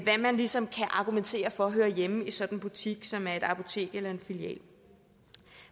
man ligesom kan argumentere for hører hjemme i sådan en butik som er et apotek eller en filial